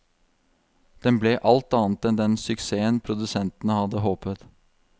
Den ble alt annet enn den suksessen produsentene hadde håpet.